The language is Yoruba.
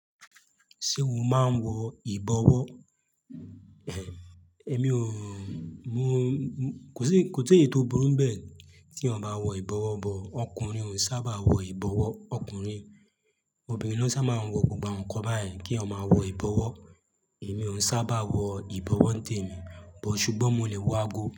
Ṣé o máa ń wọ ìbọwọ́? Èmi ò, mo kò sí, kò seyi tíì tó burú nbẹ́ẹ̀ tí eeyan bá wọ ìbọwọ́ bọ̀. Ọkùnrin ò sábà wọ ìbọwọ́, ọkùnrin. Obìnrin ló sábà máa ń wọ gbogbo awon nkan bayen, kí eeyan máa wọ ìbọwọ́. Èmi òn sábà wọ ìbọwọ́ ńtẹ̀mí, bọ̀ ṣùgbọ́n mo lè wọ ago.